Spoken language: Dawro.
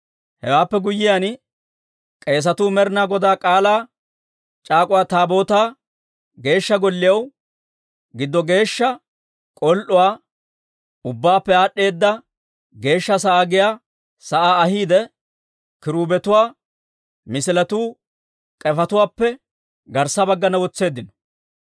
Hewaappe guyyiyaan k'eesatuu Med'inaa Godaa K'aalaa c'aak'uwa Taabootaa Geeshsha Golliyaw giddo geeshsha k'ol"uwaa, Ubbaappe Aad'd'eeda Geeshsha sa'aa giyaa sa'aa ahiidde, kiruubetuwaa misiletuu k'efetuwaappe garssa baggana wotseeddino.